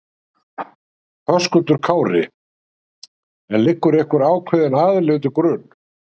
Höskuldur Kári: En liggur einhver ákveðin aðili undir grun?